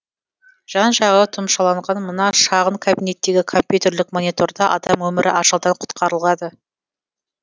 жан жағы тұмшаланған мына шағын кабинеттегі компьютерлік мониторда адам өмірі ажалдан құтқарылады